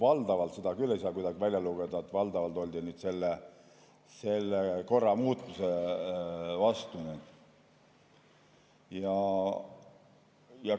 Aga seda küll ei saa kuidagi välja lugeda, et valdavalt oldi selle korra muutmise vastu.